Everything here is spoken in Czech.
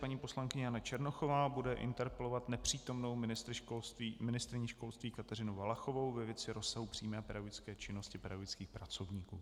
Paní poslankyně Jana Černochová bude interpelovat nepřítomnou ministryni školství Kateřinu Valachovou ve věci rozsahu přímé pedagogické činnosti pedagogických pracovníků.